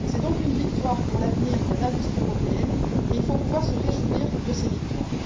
C'est donc une victoire pour l'avenir de l'industrie européenne et il faut pouvoir se réjouir de ses victoires.